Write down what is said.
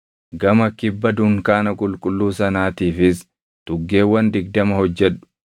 Gama kibba dunkaana qulqulluu sanaatiifis tuggeewwan digdama hojjedhu;